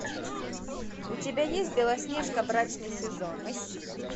у тебя есть белоснежка брачный сезон